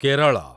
Kerala